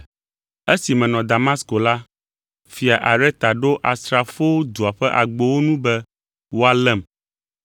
Esi menɔ Damasko la, fia Areta ɖo asrafowo dua ƒe agbowo nu be woalém,